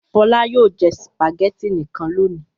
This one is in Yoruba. Fọlá yóò jẹ sùpàgẹ́tì nìkan lónìí!